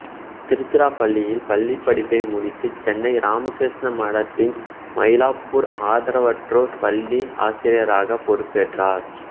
திருச்சிராப்பள்ளியில் பள்ளிப் படிப்பை முடித்து சென்னை இராமகிருஷ்ண மடத்தின் மயிலாப்பூர் ஆதரவற்றோர் பள்ளி ஆசிரியராக பொறுப்பேற்றார்